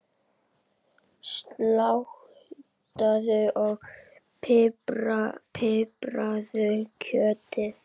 Saltaðu og pipraðu kjötið.